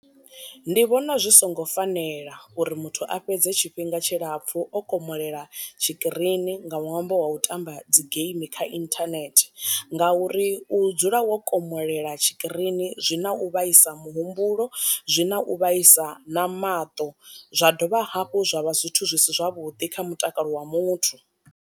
Ndi vhona zwi songo fanela uri muthu a fhedze tshifhinga tshilapfhu o komolela tshi kirini nga ṅwambo wa u tamba dzi geimi kha inthanethe, nga uri u u dzula wo komolela tshi kirini zwi na u vhaisa muhumbulo, zwi na u vhaisa na maṱo, zwa dovha hafhu zwa vha zwithu zwi si zwavhuḓi kha mutakalo wa muthu.